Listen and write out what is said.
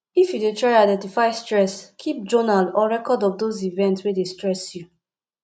if you dey try identify stress keep journal or record of those events wey dey stress you